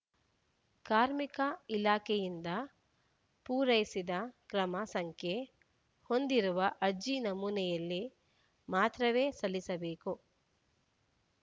ಕಾರ್ಮಿಕ ಇಲಾಖೆಯಿಂದ ಪೂರೈಸಿದ ಕ್ರಮ ಸಂಖ್ಯೆ ಹೊಂದಿರುವ ಅರ್ಜಿ ನಮೂನೆಯಲ್ಲಿ ಮಾತ್ರವೇ ಸಲ್ಲಿಸಬೇಕು